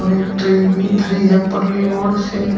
एक ट्रे भी धरी है से।